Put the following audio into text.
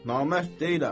Namərd deyiləm.